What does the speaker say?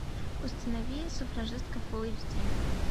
установи суфражистка фулл эйч ди